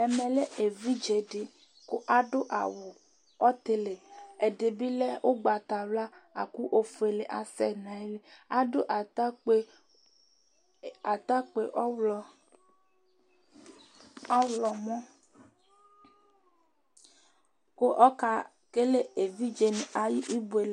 ɛmɛ lɛ evidze di kò ado awu ɔtili ɛdi bi lɛ ugbata wla la kò ofuele asɛ n'ayili adu atakpui atakpui ɔwlɔ ɔwlɔmɔ kò ɔke kele evidze ni ayi ibuele